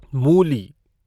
मूली